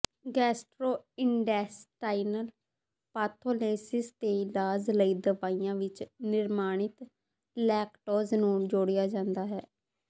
gastrointestinal ਪਾਥੋਲੇਸਿਸ ਦੇ ਇਲਾਜ ਲਈ ਦਵਾਈਆਂ ਵਿੱਚ ਨਿਰਮਾਣਿਤ ਲੈਕਟੋਜ਼ ਨੂੰ ਜੋੜਿਆ ਜਾਂਦਾ ਹੈ